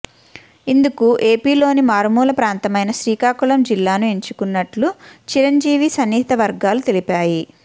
ఇందుకు ఏపీలోని మారుమూల ప్రాంతమైన శ్రీకాకుళం జిల్లాను ఎంచుకున్నట్లు చిరంజీవి సన్నిహిత వర్గాలు తెలిపాయి